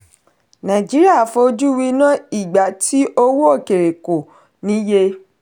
nàìjíríà fọjú wíná ìgbà tí owó òkèèrè kò níye.